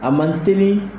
A man teli